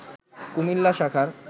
কুমিল্লা শাখার